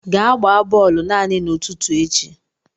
Gaa gbaa bọọlụ naanị n'ụtụtụ echi!